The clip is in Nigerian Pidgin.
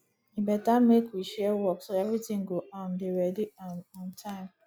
e better make we share work so everything go um dey ready um on time